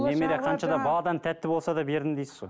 немере қанша да баладан тәтті болса да бердім дейсіз ғой